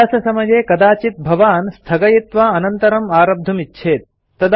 अभ्याससमये कदाचित् भवान् स्थगयित्वा अनन्तर आरब्धुम् इच्छेत्